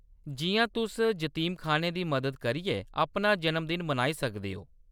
जिʼयां तुस जतीमखान्नें दी मदद करियै अपना जन्मदिन मनाई सकदे ओ।